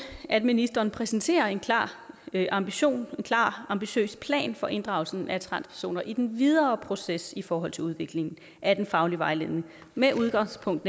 at ministeren præsenterer en klar ambition en klar ambitiøs plan for inddragelsen af transpersoner i den videre proces i forhold til udviklingen af den faglige vejledning med udgangspunkt